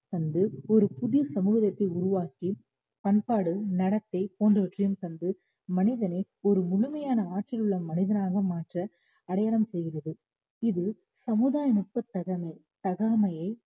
தந்து ஒரு புதிய சமூகத்தை உருவாக்கி பண்பாடு நடத்தை போன்றவற்றையும் தந்து மனிதனை ஒரு முழுமையான ஆற்றல் உள்ள மனிதனாக மாற்ற அடையாளம் செய்கிறது இது சமுதாய நுட்பத் தகமை~ தகாமையை